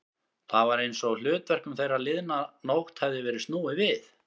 Það var einsog hlutverkum þeirra liðna nótt hefði verið snúið við.